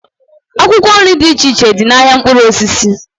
Akwụkwọ nri dị iche iche dị n'ahịa mkpụrụ osisi